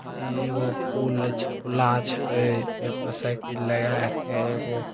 इ एगो पुल ले छै पुल्ला छै ए पे साइकिल लगाए के एगो --